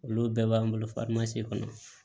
Olu bɛɛ b'an bolo kɔnɔ